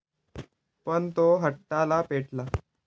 पण तो हट्टाला पेटतो.